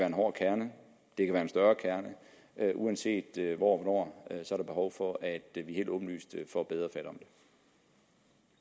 en hård kerne det kan være en større kerne men uanset hvor og der behov for at vi helt åbenlyst får bedre